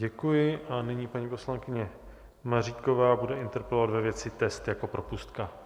Děkuji a nyní paní poslankyně Maříková bude interpelovat ve věci test jako propustka.